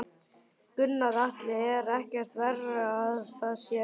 Gunnar Atli: Er ekkert verra að það sé rigning?